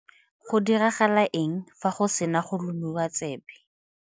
Go diragala eng fa re sena go lomiwa tsebe?